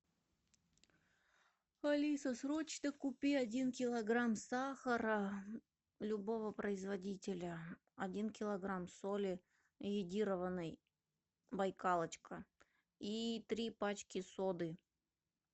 алиса срочно купи один килограмм сахара любого производителя один килограмм соли йодированной байкалочка и три пачки соды